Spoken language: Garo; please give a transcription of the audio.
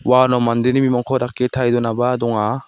uano mandeni bimangko dake tarie donaba donga.